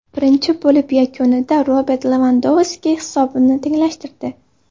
Birinchi bo‘lim yakunida Robert Levandovski hisobni tenglashtirdi.